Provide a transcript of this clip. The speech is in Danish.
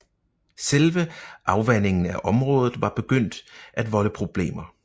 Selve afvandingen af området var begyndt at volde problemer